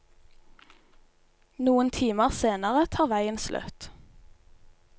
Noen timer senere tar veien slutt.